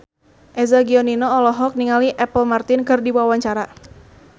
Eza Gionino olohok ningali Apple Martin keur diwawancara